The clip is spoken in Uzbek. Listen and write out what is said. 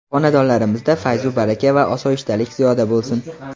Xonadonlarimizda fayzu baraka va osoyishtalik ziyoda bo‘lsin!